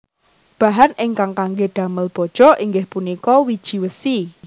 Bahan ingkang kangge damel baja inggih punika wiji wesi